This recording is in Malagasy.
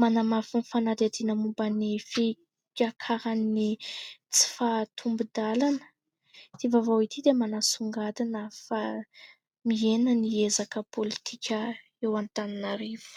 manamafy ny fanadihadiana momba ny fiakaran'ny tsy fahatombon-dalana, ity vaovao ity dia manasongadina fa mihena ny ezaka pôlitika eo Antananarivo.